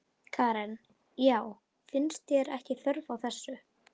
Karen: Já, finnst þér ekki þörf á þessu?